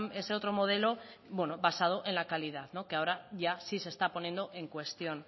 ese otro modelo bueno basado en la calidad no que ahora ya sí se está poniendo en cuestión